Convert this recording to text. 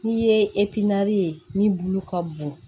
N'i ye ye ni bulu ka bon